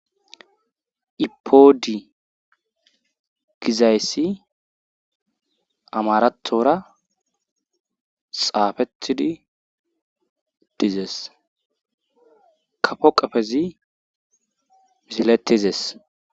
ipodi gizayssi amarathora xaafethidi dizes kafo qafezi miziletizes